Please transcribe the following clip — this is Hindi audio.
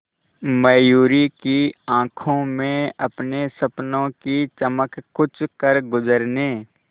मयूरी की आंखों में अपने सपनों की चमक कुछ करगुजरने